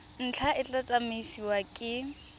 ntlha e tla tsamaisiwa ke